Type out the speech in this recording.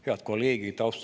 Head kolleegid!